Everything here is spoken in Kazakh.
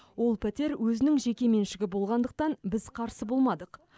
ол пәтер өзінің жеке меншігі болғандықтан біз қарсы болмадық